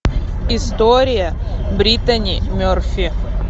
история бриттани мерфи